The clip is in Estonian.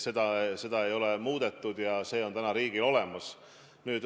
Seda ei ole muudetud ja see on riigil olemas.